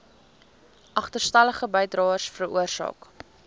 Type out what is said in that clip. agterstallige bydraes veroorsaak